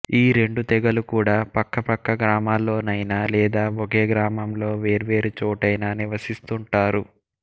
ఈ రెండు తెగలు కూడా పక్క పక్క గ్రామాల్లోనైనా లేదా వొకే గ్రామంలో వేర్వేరు చోటైనా నివసిస్తుంటారు